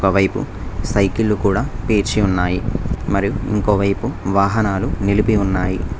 ఒక వైపు సైకిళ్ళు కూడా పేర్చి ఉన్నాయి మరియు ఇంకోవైపు వాహనాలు నిలిపి ఉన్నాయి.